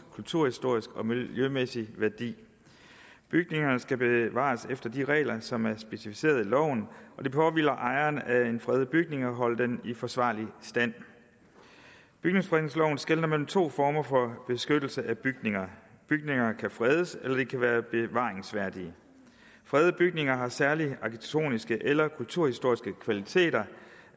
kulturhistorisk og miljømæssig værdi bygninger skal bevares efter de regler som er specificeret i loven og det påhviler ejeren af en fredet bygning at holde den i forsvarlig stand bygningsfredningsloven skelner mellem to former for beskyttelse af bygninger bygninger kan fredes eller de kan være bevaringsværdige fredede bygninger har særlige arkitektoniske eller kulturhistoriske kvaliteter